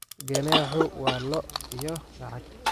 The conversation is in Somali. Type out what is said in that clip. Ganaaxu waa lo' iyo lacag.